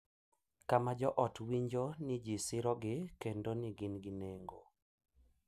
Kama jo ot winjo ni ji sirogi kendo ni gin gi nengo.